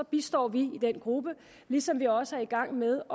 bistår den gruppe ligesom vi også er i gang med